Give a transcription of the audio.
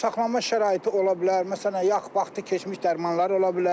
Saxlanma şəraiti ola bilər, məsələn, vaxtı keçmiş dərmanlar ola bilər.